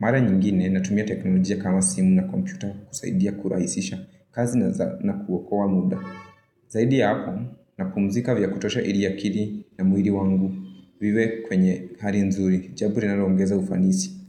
Mara nyingine natumia teknolojia kama simu na kompyuta kusaidia kuraisisha. Kazi na kuokoa muda. Zaidi ya hapo napumzika vya kutosha ili akili na mwiri wangu. Viwe kwenye hari nzuri jabo linalo ongeza ufanisi.